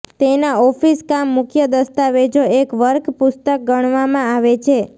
તેના ઓફિસ કામ મુખ્ય દસ્તાવેજો એક વર્ક પુસ્તક ગણવામાં આવે છે